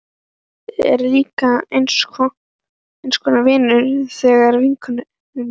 Róbert er líka eins konar vinur þessarar vinkonu minnar.